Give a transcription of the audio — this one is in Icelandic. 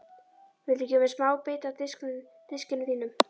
Viltu gefa mér smábita af diskinum þínum?